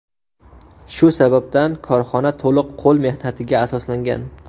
Shu sababdan korxona to‘liq qo‘l mehnatiga asoslangan.